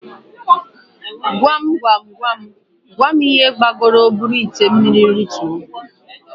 Gwam Gwam Gwam Gwam ihe gbagoro buru ite mmiri rituo?